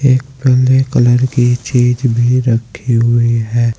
एक पिले कलर की चीज भी रखी हुई है।